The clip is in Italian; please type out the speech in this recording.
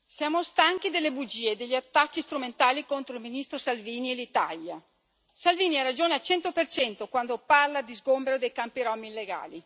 Signor Presidente, onorevoli colleghi, siamo stanchi delle bugie e degli attacchi strumentali contro il ministro Salvini e l'Italia. Salvini ha ragione al 100 quando parla di sgombero dei campi rom illegali